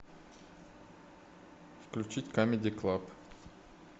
включить камеди клаб